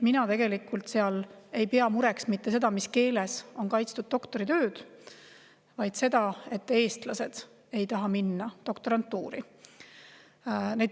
Mina tegelikult ei pea mureks mitte seda, mis keeles on kaitstud doktoritööd, vaid seda, et eestlased ei taha minna doktorantuuri.